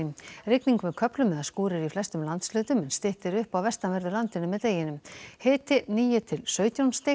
rigning með köflum eða skúrir í flestum landshlutum en styttir upp á vestanverðu landinu með deginum hiti níu til sautján stig